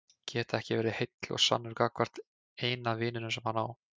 Geta ekki verið heill og sannur gagnvart eina vininum sem hann á.